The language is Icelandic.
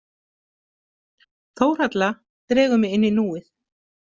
Þórhalla dregur mig inn í núið.